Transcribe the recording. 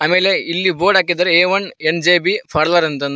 ಮೇಲೆ ಇಲ್ಲಿ ಬೋರ್ಡ್ ಹಾಕಿದ್ದಾರೆ A one N J B ಫಾರ್ಲರ್ ಅಂತಂದು.